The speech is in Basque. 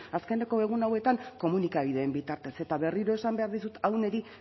azkeneko egun hauetan komunikabideetan bitartez eta berriro esan behar dizut hau niri